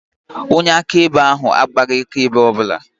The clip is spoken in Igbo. Onye akaebe ahụ agbaghị akaebe ọ bụla